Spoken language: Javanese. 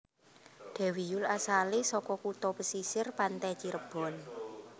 Dewi Yull asalé saka kutha pesisir pante Cirebon